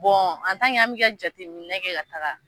Bɔn an bɛ ka jate minɛ kɛ ka taga.